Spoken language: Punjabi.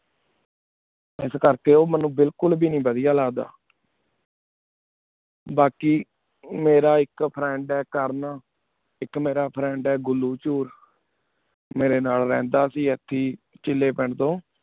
ਕਿਸ ਕਰ ਕੀ ਓਮਿਨੁ ਬਿਲਕੁਲ ਵੇ ਬਦੇਯਾ ਨੀ ਲਗਦਾ ਬਾਕੀ ਮੇਰਾ ਏਕ friend ਹੈਂ ਕਰਨ ਏਕ ਮੇਰਾ friend ਹੈਂ ਘੁਲੁ ਚੂਰ ਮੇਰੀ ਨਾਲ ਰਹ੍ਨਾਦਾ ਸੀ ਏਥੀ ਚਿਲੀ ਪੇੰਦ੍ਤੁਨ